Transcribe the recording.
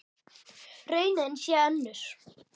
Raunin sé önnur.